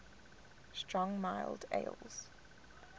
strong mild ales